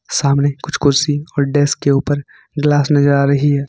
सामने कुछ कुर्सी और डेस्क के ऊपर ग्लास नजर आ रही है।